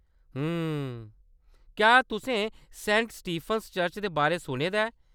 हम्म .. क्या‌ तुसें Saint Stephen's Church दे बारै सुने दा ऐ ?